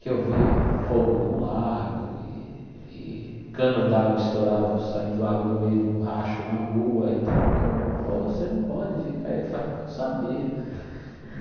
que eu vi fogo de um lado e e cano d'água estourado, saindo água do meio de um racho na rua e tal, que eu pô você não pode ficar aí, falei ah não sabia.